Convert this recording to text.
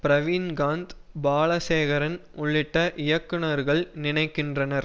ப்ரவீன்காந்த் பாலசேகரன் உள்ளிட்ட இயக்குநர்கள் நினைக்கின்றனர்